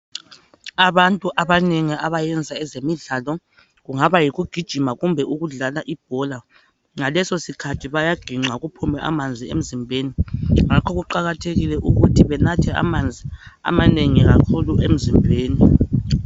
Abantu abanengi abayenza ezemidlalo, kungaba yikugijima kumbe ukudlala ibhola, ngaleso sikhathi bayaginqa kuphume amanzi emzimbeni. Ngakho kuqakathekile ukuthi benathe amanzi amanengi kakhulu emzimbeni.